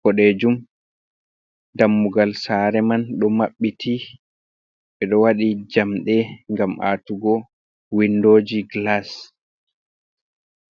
boɗeejum, dammugal saare man ɗon maɓɓiti, ɓe ɗo waɗi jamɗe ngam aatugo windooji glas.